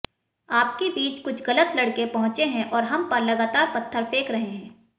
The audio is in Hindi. आपके बीच कुछ गलत लड़के पहुंचे हैं और हम पर लगातार पत्थर फेंक रहे हैं